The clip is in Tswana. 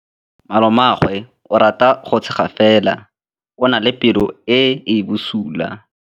Malomagwe o rata go tshega fela o na le pelo e e bosula.